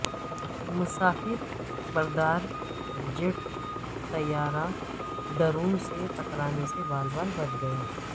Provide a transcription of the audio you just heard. مسافر بردار جیٹ طیارہ ڈرون سے ٹکرانے سے بال بال بچ گیا